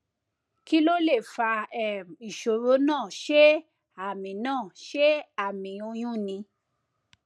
kí ló lè fa um ìṣòro náà ṣé àmì náà ṣé àmì oyún ni